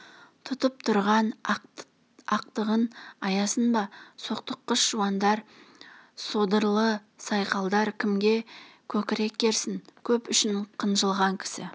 тұтып тұрған ақтығын аясын ба соқтыққыш жуандар содырлы сайқалдар кімге көкірек керсін көп үшін қынжылған кісі